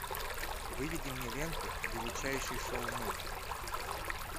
выведи мне ленту величайший шоумен